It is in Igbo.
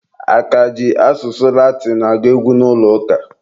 A ka ji asụsụ Latinụ agụ egwu n'ụlọ ụka?